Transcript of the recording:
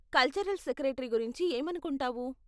Cultural secretary గురించి ఏమనుకుంటావు?